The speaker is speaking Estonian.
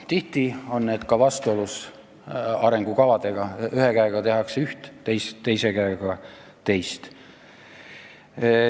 Tihti on need eraldused vastuolus arengukavadega: ühe käega tehakse üht, teise käega teist.